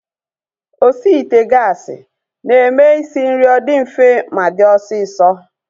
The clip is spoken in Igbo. Osi ite gaasi na-eme isi nri ọ dị mfe ma dị osisọ